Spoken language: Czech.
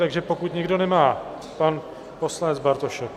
Takže pokud nikdo nemá... pan poslanec Bartošek.